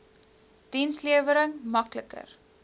dienslewering mak liker